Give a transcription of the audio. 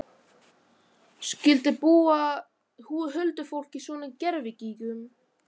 Skyldi búa huldufólk í svona gervigígum?